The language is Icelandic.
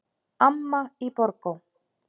Amma í Borgó.